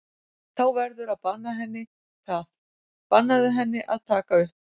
Þú verður að banna henni það, bannaðu henni að taka upp!